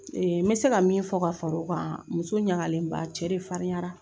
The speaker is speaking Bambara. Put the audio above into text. N bɛ se ka min fɔ ka fara o kan muso ɲagalenba a cɛ de farinyara.